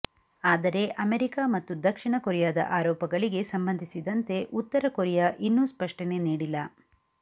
ಆದರೆ ಅಮೆರಿಕ ಮತ್ತು ದಕ್ಷಿಣ ಕೊರಿಯಾದ ಆರೋಪಗಳಿಗೆ ಸಂಬಂಧಿಸಿದಂತೆ ಉತ್ತರ ಕೊರಿಯಾ ಇನ್ನೂ ಸ್ಪಷ್ಟನೆ ನೀಡಿಲ್ಲ